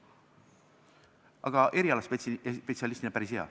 Aga erialaspetsialistina on ta päris hea.